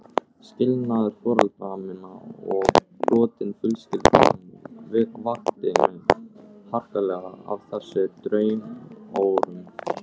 Skilnaður foreldra minna og brotin fjölskyldan vakti mig harkalega af þessum draumórum.